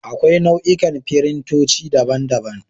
Akwai nau'ikan firintoci, daban daban.